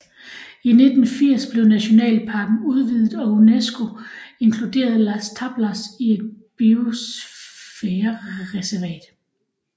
I 1980 blev nationalparken udvidet og UNESCO inkluderede Las Tablas i et Biosfærereservat